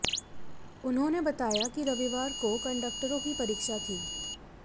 उन्होंने बताया कि रविवार को कंडक्टरों की परीक्षा थी